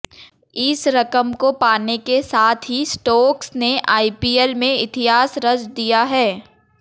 इस रकम को पाने के साथ ही स्टोक्स ने आईपीएल में इतिहास रच दिया है